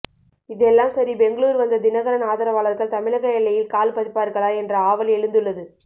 இதெல்லாம் சரி பெங்களூரு வந்த தினகரன் ஆதரவாளர்கள் தமிழக எல்லையில் கால் பதிப்பார்களா என்ற ஆவல் எழுந்துள்ளது